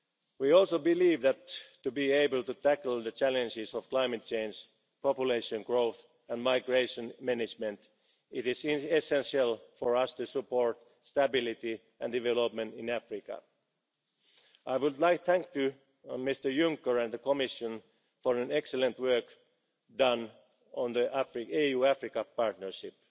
approach in trade. We also believe that, to be able to tackle the challenges of climate change, population growth and migration management, it is essential for us to support stability and development in Africa. I would like to thank Mr Juncker and the Commission for the excellent work done on the EU